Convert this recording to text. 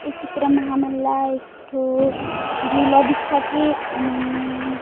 ये चित्र म हमन ला एक ठो झूला दिखत हे ओमे--